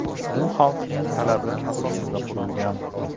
U xalqning talabi asosida qurilgan.